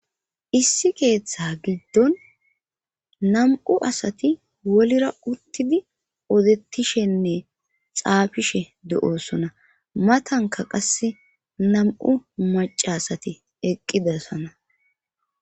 issi keeththa giddon nam7u asati wolira uttidi odettishenne xaafishe do7osona matanka qasse nam7u macaasati eqqidasana